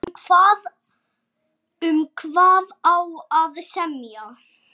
Um hvað á að semja?